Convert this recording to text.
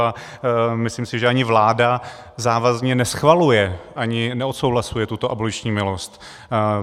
A myslím si, že ani vláda závazně neschvaluje ani neodsouhlasuje tuto aboliční milost.